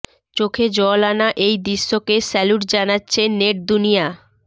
চোখে জল আনা এই দৃশ্যকে স্যালুট জানাচ্ছে নেট দুনিয়া